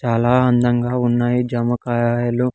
చాలా అందంగా ఉన్నాయి జామకాయలు.